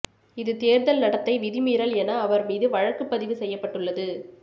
இது தேர்தல் நடத்தை விதி மீறல் என அவர் மீது வழக்குப் பதிவு செய்யப்பட்டுள்ளது